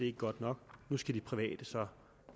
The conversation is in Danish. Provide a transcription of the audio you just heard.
er godt nok nu skal de private så